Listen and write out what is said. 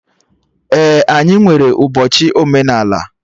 Ee, anyị nwere ụbọchị omenala